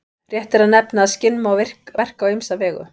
Rétt er að nefna að skinn má verka á ýmsa vegu.